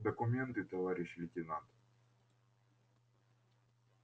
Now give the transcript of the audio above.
документы товарищ лейтенант